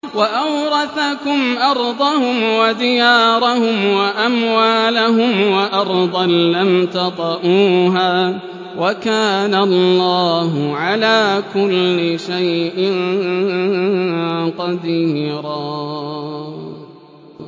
وَأَوْرَثَكُمْ أَرْضَهُمْ وَدِيَارَهُمْ وَأَمْوَالَهُمْ وَأَرْضًا لَّمْ تَطَئُوهَا ۚ وَكَانَ اللَّهُ عَلَىٰ كُلِّ شَيْءٍ قَدِيرًا